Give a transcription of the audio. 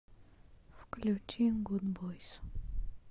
включи гудбойс